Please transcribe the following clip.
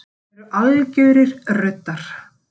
Þeir eru algjörir ruddar